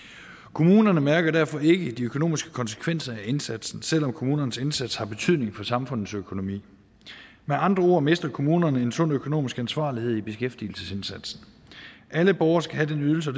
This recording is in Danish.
kommunerne mærker derfor ikke de økonomiske konsekvenser af indsatsen selv om kommunernes indsats har betydning for samfundets økonomi med andre ord mister kommunerne en sund økonomisk ansvarlighed i beskæftigelsesindsatsen alle borgere skal have den ydelse